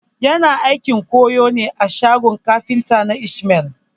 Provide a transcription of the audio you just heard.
Yana aikin mai ƙoyo ne a shagon kafinta na ismail